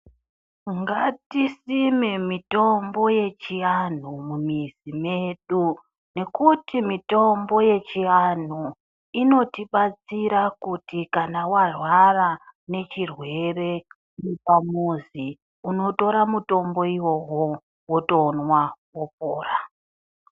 Ngatisime mitombo yechiantu mumizi medu. Ngekuti mitombo yechiantu inotibatsira kuti kana warwara nechirwere uri pamuzi unotora mutombo uwowo wotomwa wopora.